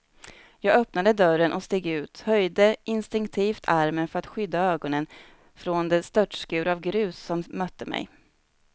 Jag öppnade dörren och steg ut, höjde instinktivt armen för att skydda ögonen från den störtskur av grus som mötte mig.